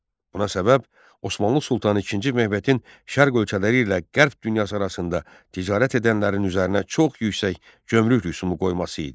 Buna səbəb Osmanlı Sultanı II Mehmetin şərq ölkələri ilə qərb dünyası arasında ticarət edənlərin üzərinə çox yüksək gömrük rüsumu qoyması idi.